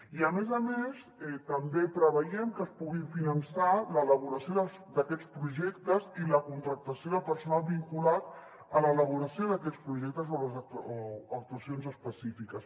i a més a més també preveiem que es pugui finançar l’elaboració d’aquests projectes i la contractació de personal vinculat a l’elaboració d’aquests projectes o actuacions específiques